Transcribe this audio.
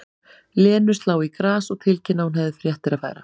Lenu slá í glas og tilkynna að hún hefði fréttir að færa.